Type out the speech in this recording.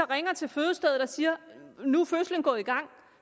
ringer til fødestedet og siger at nu er fødslen gået i gang